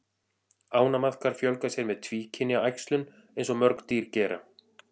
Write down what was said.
Ánamaðkar fjölga sér með tvíkynja æxlun eins og mörg dýr gera.